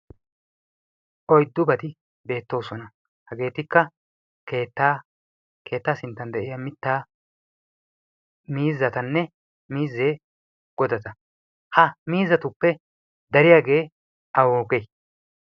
Oyddubati beettoosona. Hageetikka: keettaa, keettaa sinttan de'iya mittaa, miizzatanne miizze godata. Ha miizzatuppe dariyagee awugee?